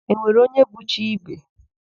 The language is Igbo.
E nwere onye bụ chi ibe?